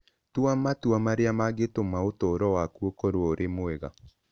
Tua matua marĩa mangĩtũma ũtũũro waku ũkorũo ũrĩ mwega.